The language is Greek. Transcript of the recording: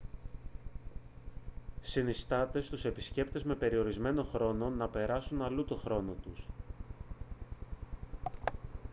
συνιστάται στους επισκέπτες με περιορισμένο χρόνο να περάσουν αλλού τον χρόνο τους